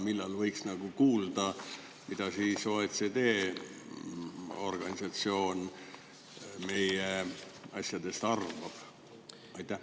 Millal võiks kuulda, mida siis OSCE organisatsioon meie asjadest arvab?